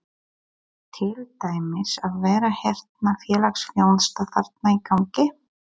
Á til dæmis að vera hérna félagsþjónusta þarna í gangi?